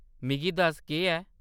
मिगी दस्स, केह्‌‌ ऐ ?